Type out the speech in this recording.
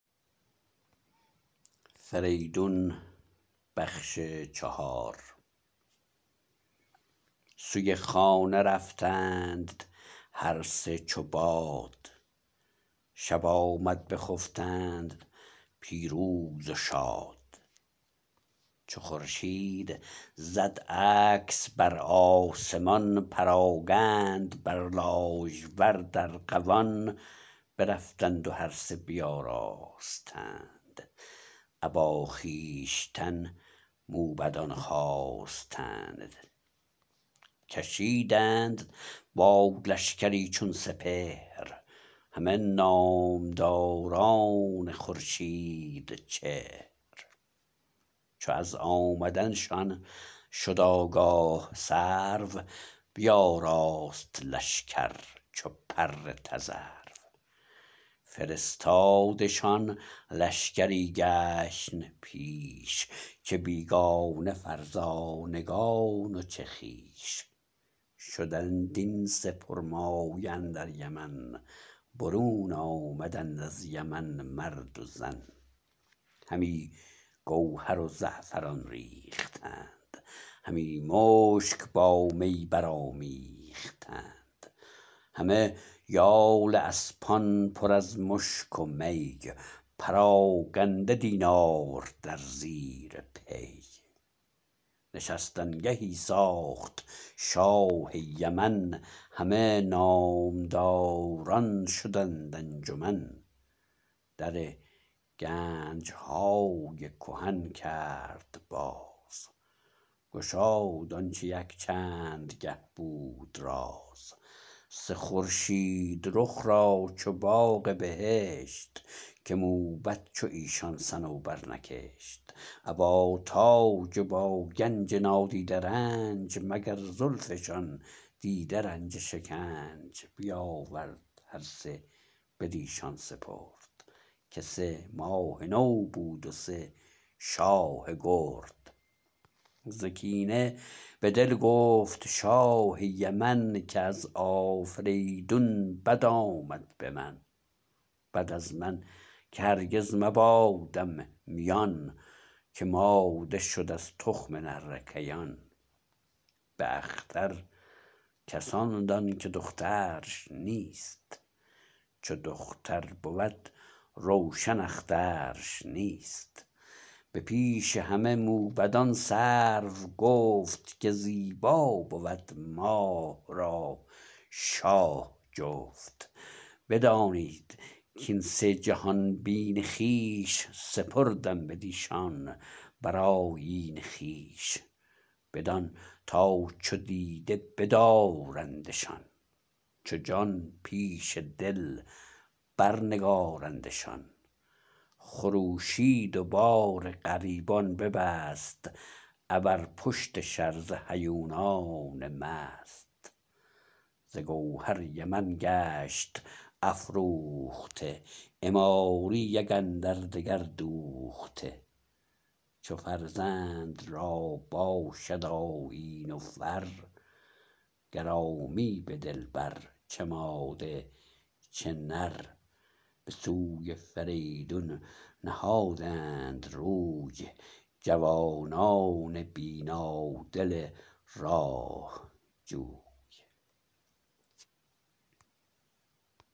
سوی خانه رفتند هر سه چوباد شب آمد بخفتند پیروز و شاد چو خورشید زد عکس برآسمان پراگند بر لاژورد ارغوان برفتند و هر سه بیاراستند ابا خویشتن موبدان خواستند کشیدند با لشکری چون سپهر همه نامداران خورشیدچهر چو از آمدنشان شد آگاه سرو بیاراست لشکر چو پر تذرو فرستادشان لشکری گشن پیش چه بیگانه فرزانگان و چه خویش شدند این سه پرمایه اندر یمن برون آمدند از یمن مرد و زن همی گوهر و زعفران ریختند همی مشک با می برآمیختند همه یال اسپان پر از مشک و می پراگنده دینار در زیر پی نشستن گهی ساخت شاه یمن همه نامداران شدند انجمن در گنجهای کهن کرد باز گشاد آنچه یک چند گه بود راز سه خورشید رخ را چو باغ بهشت که موبد چو ایشان صنوبر نکشت ابا تاج و با گنج نادیده رنج مگر زلفشان دیده رنج شکنج بیاورد هر سه بدیشان سپرد که سه ماه نو بود و سه شاه گرد ز کینه به دل گفت شاه یمن که از آفریدون بد آمد به من بد از من که هرگز مبادم میان که ماده شد از تخم نره کیان به اختر کس آن دان که دخترش نیست چو دختر بود روشن اخترش نیست به پیش همه موبدان سرو گفت که زیبا بود ماه را شاه جفت بدانید کین سه جهان بین خویش سپردم بدیشان بر آیین خویش بدان تا چو دیده بدارندشان چو جان پیش دل بر نگارندشان خروشید و بار غریبان ببست ابر پشت شرزه هیونان مست ز گوهر یمن گشت افروخته عماری یک اندردگر دوخته چو فرزند را باشد آیین و فر گرامی به دل بر چه ماده چه نر به سوی فریدون نهادند روی جوانان بینادل راه جوی